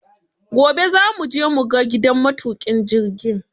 Gobe za mu je mu ga gidan matuƙin jirgin